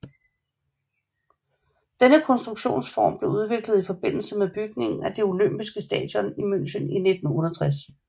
Denne konstruktionsform blev udviklet i forbindelse med bygningen af det olympiske stadion i München i 1968